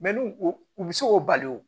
n'u u bɛ se k'o bali wo